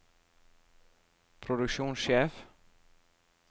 produksjonssjef